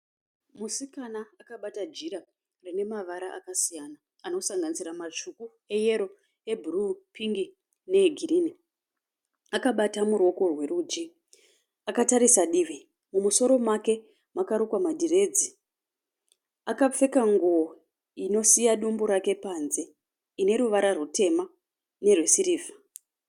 Musikana akabata jira rine mavara akasiyana anosanganisira matsvuku, eyero, ebhuruu, pingi neegirinhi. Akabata muruoko rwerudyi. Akatarisa divi. Mumusoro make makarukwa madhiredzi. Akapfeka nguwo inosiya dumbu rake panze ine ruvara rutema nerwesirivha.